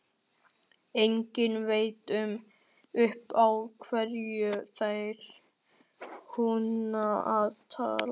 Enginn veit upp á hverju þeir kunna að taka!